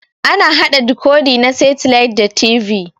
Ana haɗa dikodi na setilait da TV.